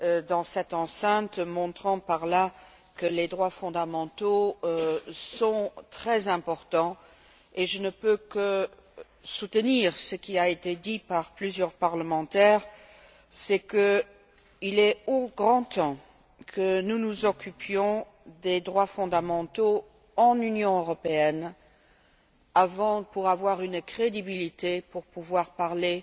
dans cette enceinte, montrant par là que les droits fondamentaux sont très importants et je ne peux que soutenir ce qui a été dit par plusieurs parlementaires, c'est à dire qu'il est grand temps que nous nous occupions des droits fondamentaux dans l'Union européenne pour avoir une crédibilité et pouvoir parler